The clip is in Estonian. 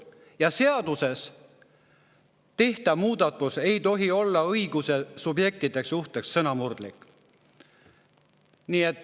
Ja seaduses tehtava muudatuse puhul ei tohi olla õiguse subjektide suhtes sõnamurdlik.